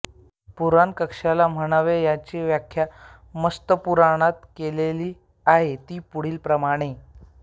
पुराण कशाला म्हणावे याची व्याख्या मत्स्यपुराणात केलेली आहे ती पुढीलप्रमाणे